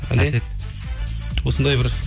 әсет осындай бір